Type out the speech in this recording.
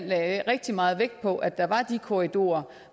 lagde rigtig meget vægt på at der var de korridorer